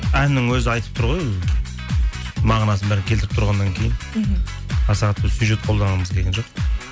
әннің өзі айтып тұр ғой мағынасын бәрін келтіріп тұрғаннан кейін мхм аса қатты сюжет қолданғымыз келген жоқ